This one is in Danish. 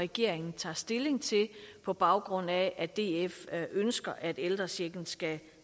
regeringen tager stilling til på baggrund af at df ønsker at ældrechecken skal